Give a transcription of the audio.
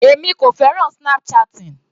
Èmi kò fẹ́ràn snap chatting.